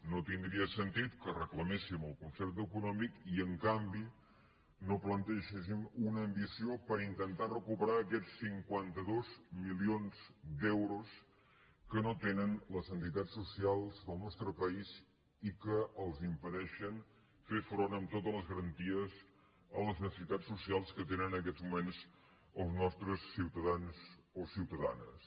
no tindria sentit que re·claméssim el concert econòmic i en canvi no plan·tegéssim una ambició per intentar recuperar aquests cinquanta dos milions d’euros que no tenen les entitats socials del nostre país i que els impedeixen fer front amb to·tes les garanties a les necessitats socials que tenen en aquests moments els nostres ciutadans o ciutadanes